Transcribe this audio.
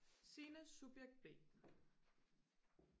Signe subjekt b